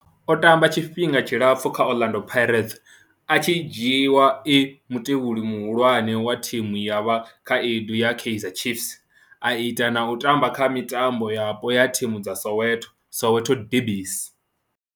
O tamba tshifhinga tshilapfhu kha Orlando Pirates, a tshi dzhiiwa e mutevheli muhulwane wa thimu ya vhakhaedu ya Kaizer Chiefs, a ita na u tamba kha mitambo yapo ya thimu dza Soweto, Soweto derbies.